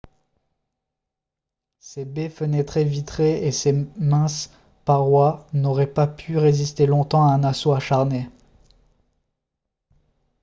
ses baies fenêtres vitrées et ses minces parois n'auraient pas pu résister longtemps à un assaut acharné